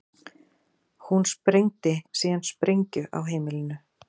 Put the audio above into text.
Hún sprengdi síðan sprengju á heimilinu